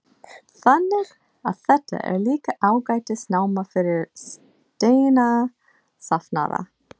Þannig að þetta er líka ágætis náma fyrir steinasafnara?